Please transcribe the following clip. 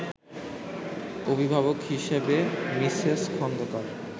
অভিভাবক হিসেবে মিসেস খন্দকার